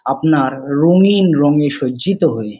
আপনার রঙিন রঙে সজ্জিত হয়ে।